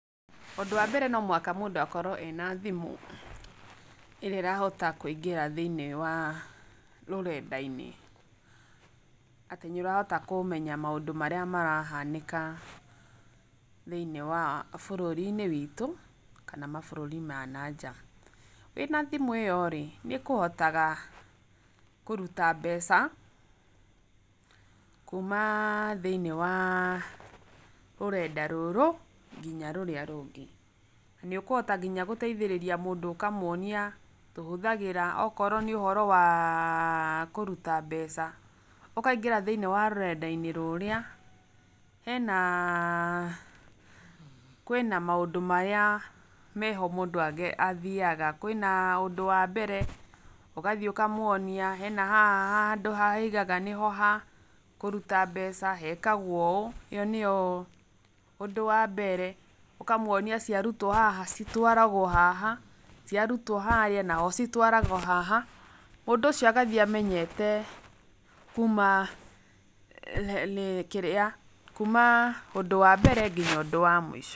Ũndũ wa mbere no mũhaka mũndũ akorwo ena thimũ ĩrĩa ĩrahota kũingĩra thĩinĩ wa rũrenda-inĩ , atĩ nĩ ũrahota kũmenya maũndũ marĩa marahanĩka thĩinĩ wa bũrũri-inĩ witũ kana mabũrũri ma na nja, wĩna thimũ ĩyo rĩ nĩũhotaga kũruta mbeca kuuma thĩinĩ wa rũrenda rũrũ nginya rũrĩa rũngĩ nĩ ũkũhota nginya gũteithĩrĩria mũndũ ũkamwonia tũhũthagĩra okorwo nĩ ũhoro waaa kũruta mbeca, ũkaingĩra thĩinĩ wa rũrenda-inĩ rũrĩa, hena, kwĩna maũndũ marĩa meho mũndũ athiaga, kwĩna ũndũ wa mbere ũgathiĩ ũkamwonia, hena haha handũ hoigaga nĩho ha, kũruta mbeca hekagwo ũũ ĩyo nĩyo ũndũ wa mbere, ũkamwonia cia rutwo haha citwaragwo haha, ciarutwo harĩa naho citwaragwo haha mũndũ ũcio agathiĩ amenyete kuma, kĩrĩa, kuma ũndũ wa mbere nginya ũndũ wa mũico.